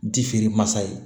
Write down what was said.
Ji feere masa ye